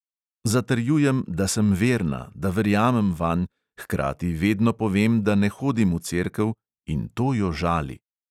Zatrjujem, da sem verna, da verjamem vanj, hkrati vedno povem, da ne hodim v cerkev, in to jo žali.